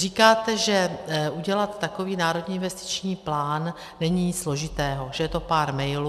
Říkáte, že udělat takový národní investiční plán není nic složitého, že je to pár mailů.